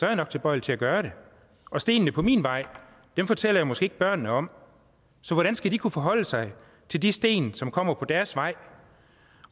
jeg nok tilbøjelig til at gøre det og stenene på min vej fortæller jeg måske ikke børnene om så hvordan skal de kunne forholde sig til de sten som kommer på deres vej